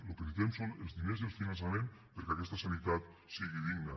el que necessitem són els diners i el finançament perquè aquesta sanitat sigui digna